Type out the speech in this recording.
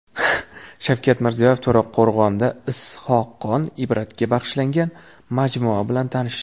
Shavkat Mirziyoyev To‘raqo‘rg‘onda Is’hoqxon Ibratga bag‘ishlangan majmua bilan tanishdi.